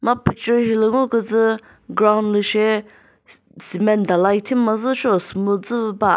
ma picture hilü ngo kütsü ground lü she s cement dalai thimazü seo smooth züvü ba.